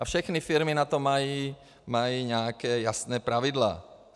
A všechny firmy na to mají nějaká jasná pravidla.